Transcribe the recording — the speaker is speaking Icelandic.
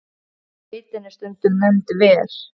Sveitin er stundum nefnd Ver.